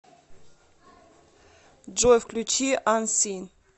джой включи ансин